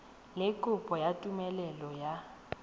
le kopo ya tumelelo ya